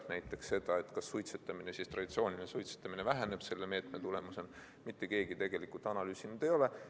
Näiteks seda, kas traditsiooniline suitsetamine väheneb selle meetme tulemusena, mitte keegi tegelikult analüüsinud ei ole.